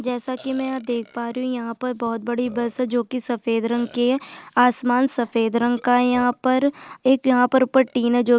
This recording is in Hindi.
जैसा कि मै यहाँ पर देख पा रही हूँ यहाँ पर बहुत बड़ी बस है जो की सफ़ेद रंग की है आसमान सफेद रंग का है यहाँ पर एक यहाँ पर ऊपर टिन है।